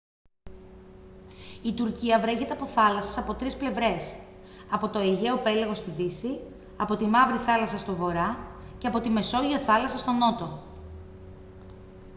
η τουρκία βρέχεται από θάλασσες από τρεις πλευρές από το αιγαίο πέλαγος στη δύση από τη μαύρη θάλασσα στον βορρά και από τη μεσόγειο θάλασσα στον νότο